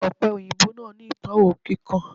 Òpe òyìnbó náà ni itọwo kíkan